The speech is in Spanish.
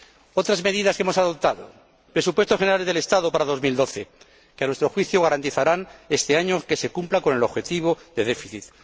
Otras medidas que hemos adoptado Presupuestos Generales del Estado para el año 2012, que a nuestro juicio garantizarán este año que se cumpla con el objetivo de déficit